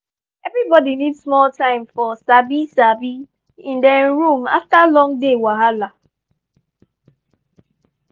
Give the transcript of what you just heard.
everybody need small time for sabi-sabi in dem room after long day wahala.